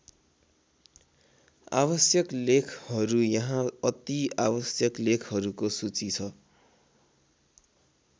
आवश्यक लेखहरू यहाँ अति आवश्यक लेखहरूको सूची छ।